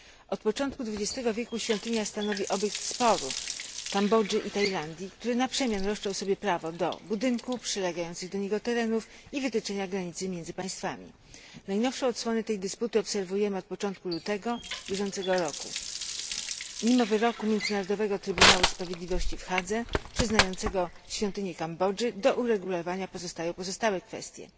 Od początku XX ego wieku świątynia stanowi obiekt sporu Kambodży i Tajlandii, które na przemian roszczą sobie prawo do budynku, przylegających do niego terenów i wytyczenia granicy między państwami. Najnowsze odsłony tej dysputy obserwujemy od początku lutego bieżącego roku. Mimo wyroku Międzynarodowego Trybunału Sprawiedliwości w Hadze przyznającego świątynię Kambodży, do uregulowania pozostają pozostałe kwestie.